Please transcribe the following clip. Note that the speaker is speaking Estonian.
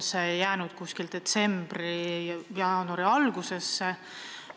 See jääb detsembrisse või jaanuari algusesse.